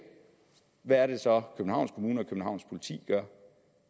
hvad er det så københavns kommune og københavns politi gør